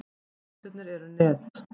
Fæturnir eru net.